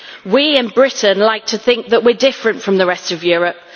We in Britain like to think that we are different from the rest of Europe.